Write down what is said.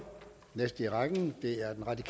det